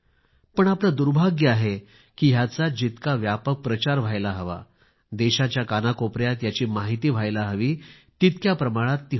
पण आपले दुर्भाग्य आहे ह्याचा जितका व्यापक प्रचार व्हायला हवा देशाच्या कानाकोपऱ्यात याची माहिती व्हायला हवी तितक्या प्रमाणात ती होत नाही